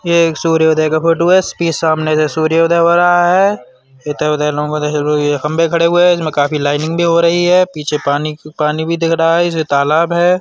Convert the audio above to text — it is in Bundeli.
ये एक सूर्योदय का फोटो है। सामने से सूर्योदय हो रहा है। खम्भे खड़े हुए हैं। इसमें काफी लाइनिंग भी हो रही हैं। पीछे पीछे पानी भी दिख रहा है। इसमें तालाब है।